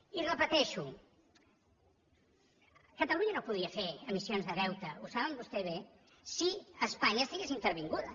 i ho repeteixo catalunya no podria fer emissions de deute ho saben vostès bé si espanya estigués intervinguda